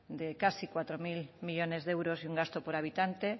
de casi cuatro mil millónes de euros y un gasto por habitante